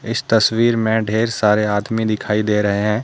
इस तस्वीर मे ढ़ेर सारे आदमी दिखाई दे रहे हैं।